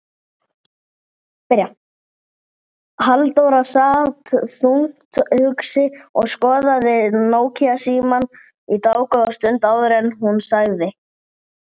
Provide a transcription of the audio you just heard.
Hvert tilvik er metið.